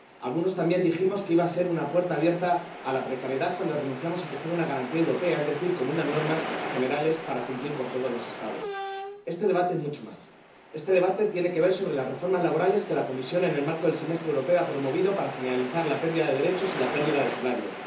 Algunos también dijimos que iba a ser una puerta abierta a la precariedad cuando renunciamos a que fuera un sistema europeo, es decir, con unas normas generales para cumplir por todos los Estados. Este debate es mucho más este debate tiene que ver con las reformas laborales que la Comisión, en el marco del Semestre Europeo, ha promovido para generalizar la pérdida de derechos y la reducción de los salarios